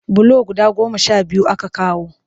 Bulo guda goma sha biyu aka kawo